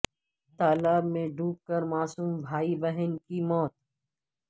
تالاب میں ڈ وب کر معصوم بھائی بہن کی موت